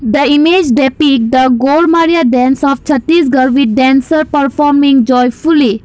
the image that pic the Golmadiya dance of Chhattisgarh with dancer performing joyfully.